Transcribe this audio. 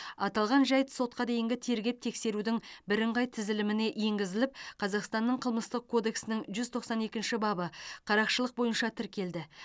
аталған жайт сотқа дейінгі тергеп тексерудің бірыңғай тізіліміне енгізіліп қазақстанның қылмыстық кодексінің жүз тоқсан екінші бабы қарақшылық бойынша тіркелді